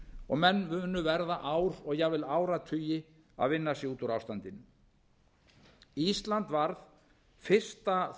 og menn munu verða ár og jafnvel áratugi að vinna sig út úr ástandinu ísland